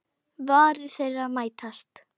Varir þeirra mætast.